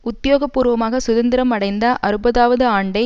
உத்தியோகபூர்வமாக சுதந்திரம் அடைந்த அறுப்பதாவது ஆண்டை